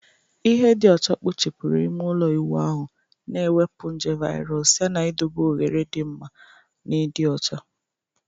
Ihe dị ọcha kpochapụrụ ime ụlọ ịwụ ahụ, na-ewepụ nje virus yana idobe oghere dị mma na ịdị ọcha